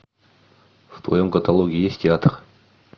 в твоем каталоге есть театр